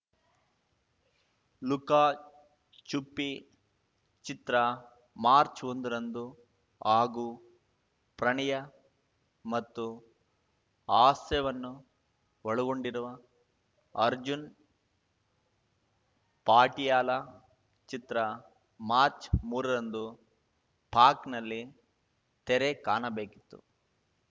Luca Chuppi ಚಿತ್ರ ಮಾರ್ಚ್ಒಂದರಂದು ಹಾಗೂ ಪ್ರಣಯ ಮತ್ತು ಹಾಸ್ಯವನ್ನು ಒಳಗೊಂಡಿರುವ ಅರ್ಜುನ್‌ ಪಾಟಿಯಾಲ ಚಿತ್ರ ಮಾರ್ಚ್ಮೂರರಂದು ಪಾಕ್‌ನಲ್ಲಿ ತೆರೆ ಕಾಣಬೇಕಿತ್ತು